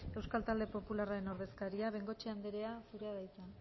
euskal talde popularraren ordezkaria bengoechea anderea zurea da hitza